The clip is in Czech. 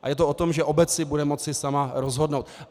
A je to o tom, že obec si bude moci sama rozhodnout.